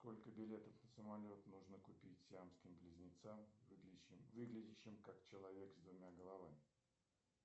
сколько билетов на самолет нужно купить сиамским близнецам выглядящим как человек с двумя головами